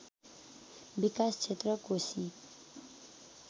विकास क्षेत्र कोशी